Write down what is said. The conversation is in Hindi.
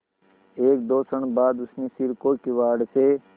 एकदो क्षण बाद उसने सिर को किवाड़ से